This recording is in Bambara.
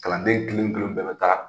Kalanden kelen kelenw bɛɛ bɛ taa